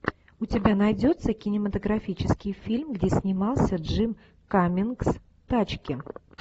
у тебя найдется кинематографический фильм где снимался джим каммингс тачки